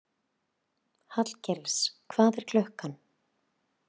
Hallgils, hvað er klukkan?